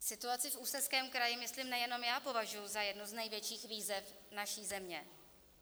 Situaci v Ústeckém kraji myslím nejenom já považuji za jednu z největších výzev naší země.